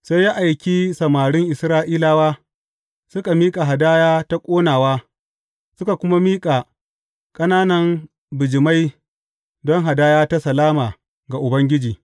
Sai ya aiki samarin Isra’ilawa, suka miƙa hadaya ta ƙonawa, suka kuma miƙa ƙananan bijimai don hadaya ta salama ga Ubangiji.